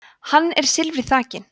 hann er silfri þakinn